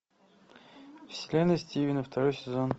вселенная стивена второй сезон